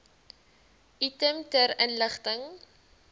item ter inligting